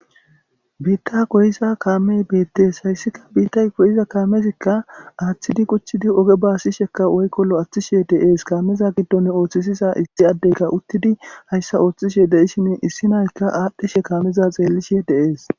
Biita goyiza kamey betes haysika biitay goyiza kamezika athidi quc'di oge basisheka woyko lo'atishe dee'es kameza gidon othisisiza issi adeyka utidi haysa otishe de'ishin issi na'ayka adhishe kamezaka xelishe dee'es.